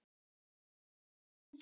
Sagði síðan: